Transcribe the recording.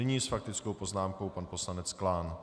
Nyní s faktickou poznámkou pan poslanec Klán.